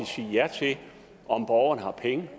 sige ja til om borgerne har penge